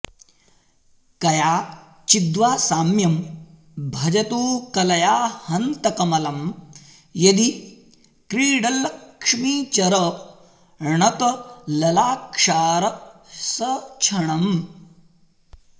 कयाचिद्वा साम्यं भजतु कलया हन्त कमलं यदि क्रीडल्लक्ष्मीचरणतललाक्षारसछणम्